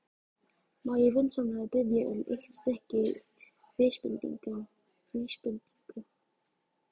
Má ég vinsamlega biðja um eitt stykki vísbendingu?